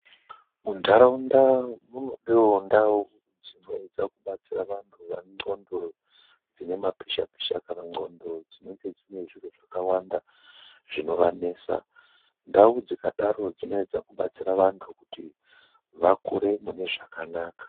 MUNDARAUNDA MUNODEWO NDAU DZINOEDZA KUBATSIRA VANTU VANE N'ONDO DZINE MAPISHA PISHA KANA N'ONDO DZINENGE DZINE ZVIRO ZVAKAWANDA ZVINOVANESA. NDAU DZIKADARO DZINOEDZA KUBATSIRA VANTU KUTI VAKURE MUNE ZVAKANAKA.